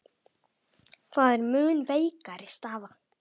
Það er mun veikari staða.